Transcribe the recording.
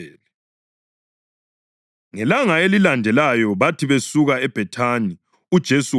Ngelanga elilandelayo bathi besuka eBhethani uJesu wayeselambile.